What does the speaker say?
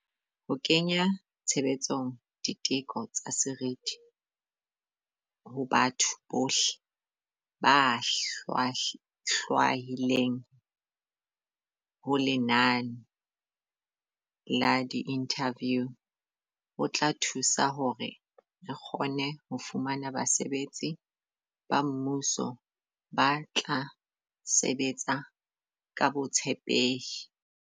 Ho kenya tshebetsong di teko tsa seriti ho batho bohle ba hlwahilweng ho lenane la diinthaviu ho tla thusa hore re kgone ho fumana basebetsi ba mmuso ba tla sebetsa ka botshepehi.